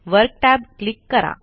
work tab click करा